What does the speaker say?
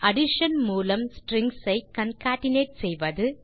addition மூலம் strings ஐ concatenate செய்தல்